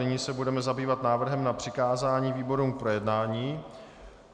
Nyní se budeme zabývat návrhem na přikázání výborům k projednání.